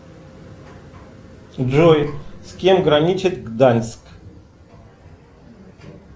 джой с кем граничит гданьск